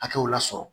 Hakɛw lasɔrɔ